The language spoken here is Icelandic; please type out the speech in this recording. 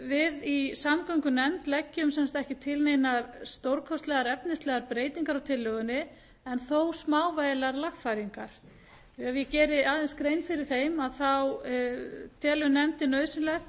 við í samgöngunefnd leggjum sem sagt ekki til neinar stórkostlegar efnislegar breytingar á tillögunni en þó smávægilegar lagfæringar ef ég geri aðeins grein fyrir þeim þá telur nefndin nauðsynlegt